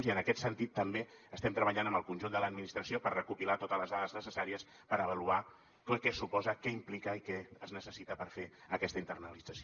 i en aquest sentit també estem treballant amb el conjunt de l’administració per recopilar totes les dades necessàries per avaluar què suposa què implica i què es necessita per fer aquesta internalització